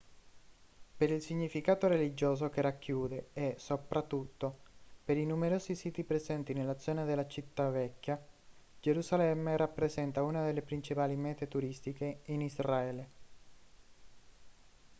per il significato religioso che racchiude e soprattutto per i numerosi siti presenti nella zona della città vecchia gerusalemme rappresenta una delle principali mete turistiche in israele